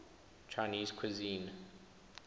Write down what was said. chinese cuisine